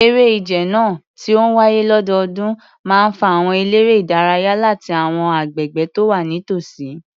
Eré ìje náà, tí ó ń wáyé lọ́dọọdún, máa ń fa àwọn eléré-ìdárayá láti àwọn agbègbè tó wà nítòsí.